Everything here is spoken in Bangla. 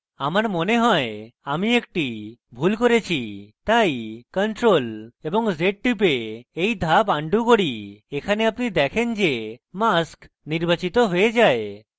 আমার মনে হয় আমি একটি ভুল করেছি তাই ctrl + z টিপে এই ধাপ আনডু করি এখানে আপনি দেখেন যে mask নির্বাচিত হয়ে যায়